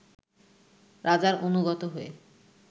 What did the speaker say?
রাজার অনুগত হয়ে